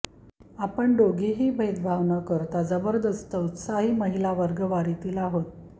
आपण दोघेही दोघेही भेदभाव न करता जबरदस्त उत्साही महिला वर्गवारीतील आहेत